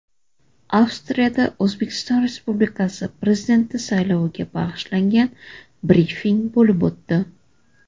Avstriyada O‘zbekiston Respublikasi Prezidenti sayloviga bag‘ishlangan brifing bo‘lib o‘tdi.